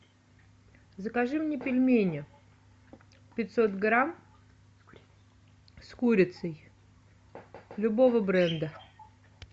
закажи мне пельмени пятьсот грамм с курицей любого бренда